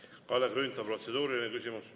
Kalle Grünthal, protseduuriline küsimus.